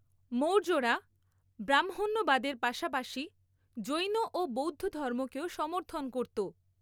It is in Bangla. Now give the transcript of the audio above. মৌর্যরা ব্রাহ্মণ্যবাদের পাশাপাশি জৈন ও বৌদ্ধধর্মকেও সমর্থন করতো।